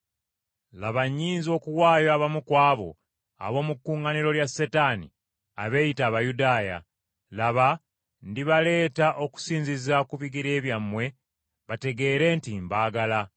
laba nnyinza okuwaayo abamu ku abo ab’omu kuŋŋaaniro lya Setaani abeeyita Abayudaaya; laba ndibaleeta okuvuunama ku bigere byammwe bategeere nti mbaagala.